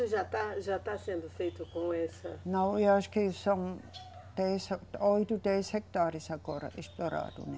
Já está, já está sendo feito com essa. Não, eu acho que são dez a, oito, dez hectares agora explorados, né?